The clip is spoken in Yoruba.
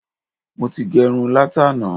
Mo ti gẹrun látàná.